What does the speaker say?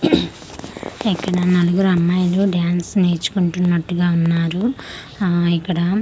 ఇక్కడ నలుగురు అమ్మాయిలు డాన్స్ నేర్చుకున్నట్టుగా ఉన్నారు ఆ ఇక్కడ.